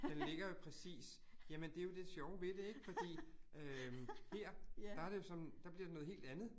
Den ligger jo præcist jamen det jo det sjove ved det ik fordi øh her, der det jo sådan, der bliver det noget helt andet